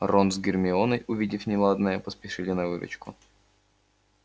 рон с гермионой увидев неладное поспешили на выручку